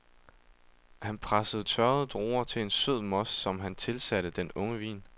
Han pressede tørrede druer til en sød most, som han tilsatte den unge vin.